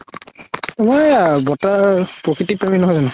তুমাৰ এইয়া বৰতাই প্ৰাকৃতিক প্ৰমি নহয় জানো